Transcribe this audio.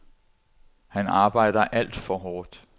Han arbejder alt for hårdt.